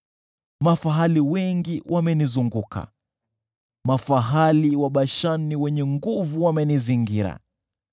Mafahali wengi wamenizunguka, mafahali wa Bashani wenye nguvu wamenizingira.